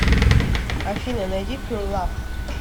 афина найди пюр лав